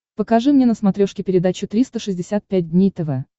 покажи мне на смотрешке передачу триста шестьдесят пять дней тв